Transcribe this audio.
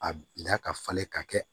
A bila ka falen ka kɛ